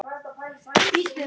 Hrópum húrra fyrir því.